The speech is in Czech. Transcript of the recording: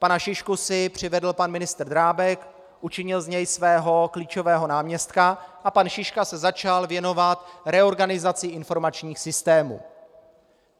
Pana Šišku si přivedl pan ministr Drábek, učinil z něj svého klíčového náměstka a pan Šiška se začal věnovat reorganizaci informačních systémů.